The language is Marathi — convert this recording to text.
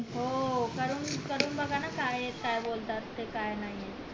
हो करून बगा ना काय येत काय बोलतायत काय नाय